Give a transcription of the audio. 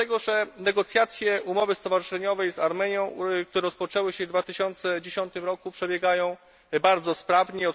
Dlatego, że negocjacje umowy stowarzyszeniowej z Armenią, które rozpoczęły się w 2010 r., przebiegają bardzo sprawnie.